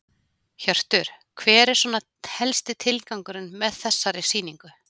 Hjörtur: Hver er svona helsti tilgangurinn með þessari sýningu?